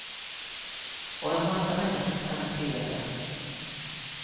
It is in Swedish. Och en massa människor kan man tillägga.